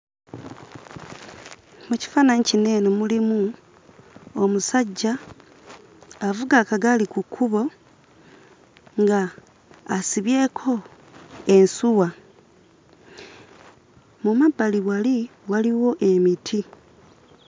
Mu kifaananyi kino eno mulimu omusajja avuga akagaali ku kkubo ng'asibyeko ensuwa. Mu mabbali wali waliwo emiti.